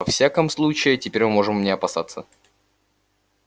во всяком случае теперь мы можем не опасаться